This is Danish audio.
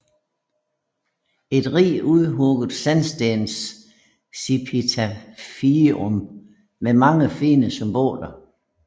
Et rigt udhugget sandstensepitafium med mange fine symboler